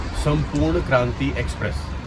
Sampoorna Kranti express